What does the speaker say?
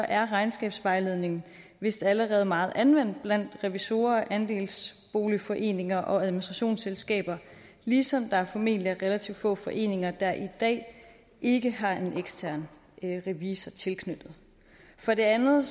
er regnskabsvejledningen vist allerede meget anvendt blandt revisorer og andelsboligforeninger og administrationsselskaber ligesom der formentlig er relativt få foreninger der i dag ikke har en ekstern revisor tilknyttet for det andet